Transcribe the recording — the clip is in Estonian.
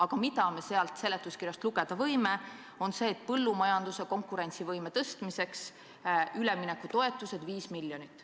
Aga seletuskirjast võime lugeda seda, et põllumajanduse konkurentsivõime tõstmiseks eraldatakse üleminekutoetusteks 5 miljonit.